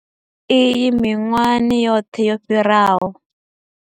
Iyi miṅwahani yoṱhe yo fhiraho.